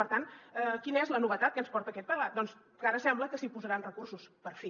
per tant quina és la novetat que ens porta aquest pla doncs que ara sembla que s’hi posaran recursos per fi